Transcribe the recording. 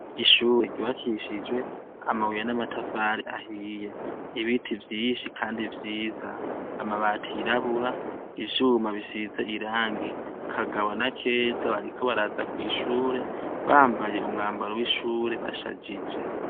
Ishure ryubakishijwe amabuye n' amatafari ahiye ibiti vyinshi kandi vyiza amabati yirabura ivyuma bisize irangi Kagabo na Keza bariko baraza kwishure bambaye umwambaro w' ishure bashajije.